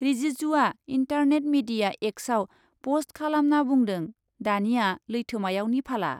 रिजिजुआ internet media एक्सआव पस्ट खालामना बुंदों , दानिया लैथोमायावनि फाला ।